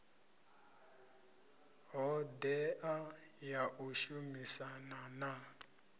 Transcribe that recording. hodea ya u shumisana na